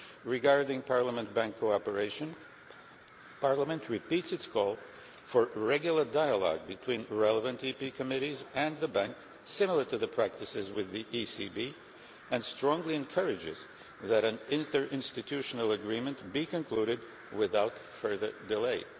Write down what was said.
Regarding Parliament Bank cooperation, Parliament repeats its call for regular dialogue between its relevant committees and the Bank, similar to the practices with the ECB, and strongly encourages that an interinstitutional agreement be concluded without further delay.